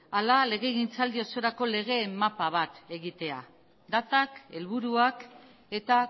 hala legegintzaldi osorako legeen mapa bat egitea datak helburuak eta